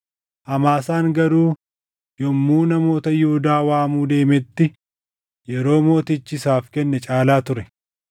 Amaasaan garuu yommuu namoota Yihuudaa waamuu deemetti yeroo mootichi isaaf kenne caalaa ture.